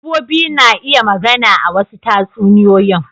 Dabbobi na iya magana a wasu tatsuniyoyin.